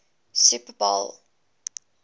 super bowl xliv